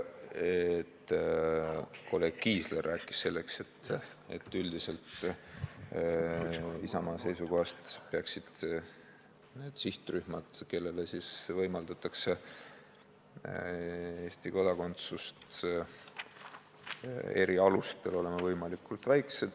Kolleeg Kiisler rääkis sellest, et Isamaa seisukohast lähtudes peaksid üldiselt need sihtrühmad, kellele võimaldatakse Eesti kodakondsust erialustel, olema võimalikult väikesed.